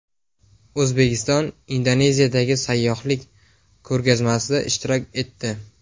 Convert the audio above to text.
O‘zbekiston Indoneziyadagi sayyohlik ko‘rgazmasida ishtirok etdi.